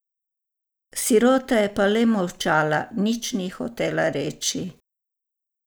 Sirota je pa le molčala, nič ni hotela reči.